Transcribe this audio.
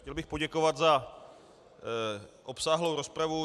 Chtěl bych poděkovat za obsáhlou rozpravu.